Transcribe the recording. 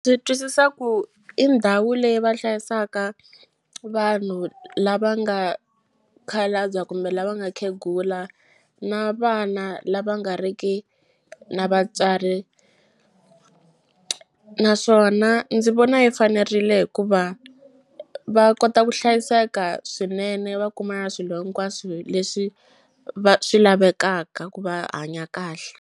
Ndzi twisisa ku i ndhawu leyi va hlayisaka vanhu lava nga khalabya kumbe lava nga khegula na vana lava nga ri ki na vatswari naswona ndzi vona yi fanerile hikuva va kota ku hlayiseka swinene va kuma na swilo hinkwaswo leswi swi lavekaka ku va hanya kahle.